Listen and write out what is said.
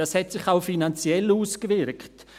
Dies hat sich auch finanziell ausgewirkt: